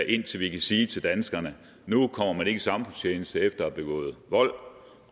indtil vi kan sige til danskerne at nu kommer man ikke i samfundstjeneste efter at have begået vold